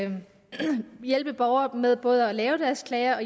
hjælpe borgere med både at lave deres klager